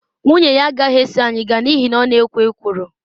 Nwunye ya agaghị eso anyị gaa n’ihi na ọ na-ekwo ekworo.